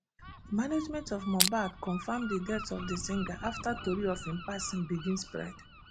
di management of mohbad confam di death of di singer afta tori of im passing begin spread